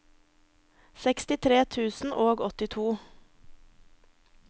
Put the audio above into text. sekstitre tusen og åttito